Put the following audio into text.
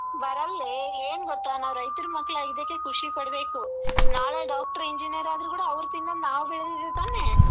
ಬರಲ್ಲೇ ಏನ್ ಗೊತ್ತ ನಾವ್ ರೈತ್ರ್ ಮಕ್ಳಾಗಿದ್ದಕ್ಕೆ ಖುಷಿ ಪಡ್ಬೇಕು ನಾಳೆ doctor, engineer ಆದ್ರೂ ಕೂಡ ಅವ್ರು ತಿನ್ನೋದ್ ಕೂಡ ನಾವ್ ಬೆಳ್ದೀರೋದ್ ತಾನೇ?